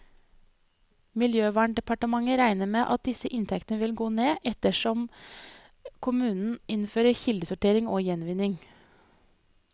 Miljøverndepartementet regner med at disse inntektene vil gå ned, etterhvert som kommunene innfører kildesortering og gjenvinning.